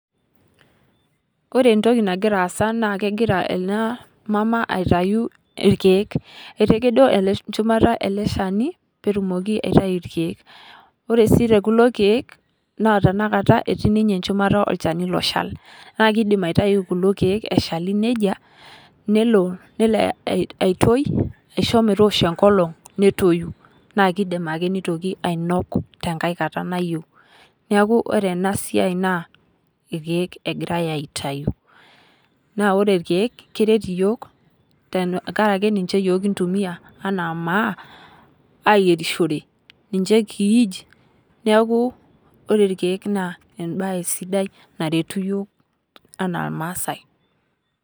Ore entoki nagira aasa na kegira ena maama aitayu irkeek. Etakedo enchumata ele shani peetumoki aitayu irkeek. Ore sii tekulo keek tenakata etii ninye enchumata olchani oshal. Neeku kidim aitayu kulo keek eshali neija nelo aitoi aisho meetoshi enkolong' netoyu naikidim ake nitoki ainok tenkae kata nayeu. Neeku ore ena siai irkeek egira aitayu. Naa ore irkeek keret iyiok tenkaraki ninche iyiok kintumia anaa maa ayierishore ninche kiij neeku ore ikeek naa ebae sidai naretu iyiok enaa irmasai.